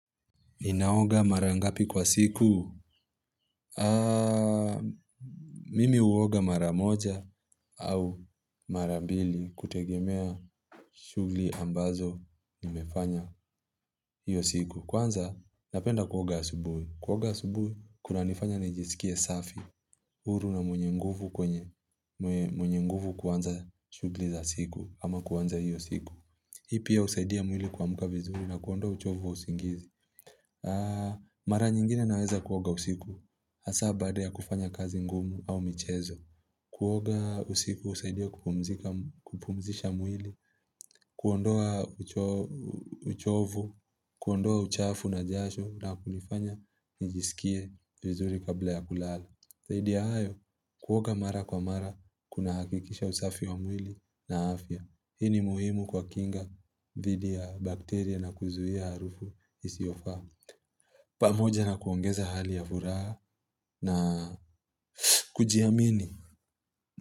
Ninaoga mara ngapi kwa siku? Mimi huoga mara moja au mara mbili kutegemea shughuli ambazo nimefanya hiyo siku. Kwanza napenda kuoga asubuhi. Kuoga asubuhi, kunanifanya nijisikie safi, uru na mwenye nguvu kwenye. Mwenye nguvu kwanza shughuli za siku ama kuanza hiyo siku. Hii pia husaidia mwili kuamka vizuri na kuondoa uchovu wa usingizi. Mara nyingine naweza kuoga usiku. Hasa badaa kufanya kazi ngumu au michezo. Kuoga usiku husaidia kumpumzika kupumzisha mwili, kuondoa uchovu, kuondoa uchafu na jasho na kunifanya nijisikie vizuri kabla ya kulala. Zaidi hayo, kuoga mara kwa mara, kuna hakikisha usafi wa mwili na afya. Hii ni muhimu kwa kinga dhidi ya bakteria na kuizuia harufu isiofaa pamoja na kuongeza hali ya vuraha na kujiamini.